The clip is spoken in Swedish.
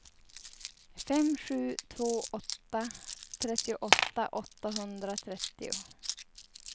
fem sju två åtta trettioåtta åttahundratrettio